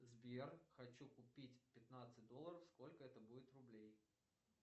сбер хочу купить пятнадцать долларов сколько это будет рублей